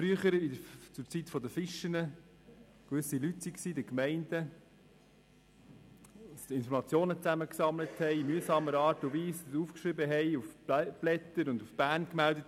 Früher, zur Zeit der Fichen, wurden Informationen in mühsamer Art und Weise von gewissen Leuten in den Gemeinden gesammelt, aufgeschrieben und nach Bern gemeldet.